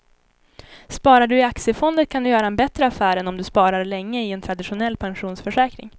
Sparar du i aktiefonder kan du göra en bättre affär än om du sparar länge i en traditionell pensionsförsäkring.